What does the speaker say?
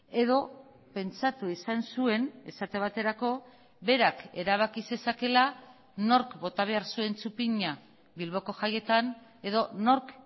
edo pentsatu izan zuen esate baterako berak erabaki zezakeela nork bota behar zuen txupina bilboko jaietan edo nork